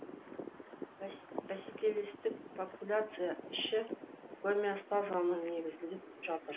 бәсекелестік популяция іші гомеостазының негізінде жатыр